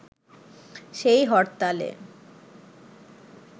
সেই হরতালে